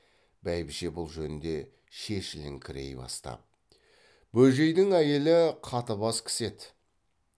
бәйбіше бұл жөнде шешіліңкірей бастап бөжейдің әйелі қатыбас кісі еді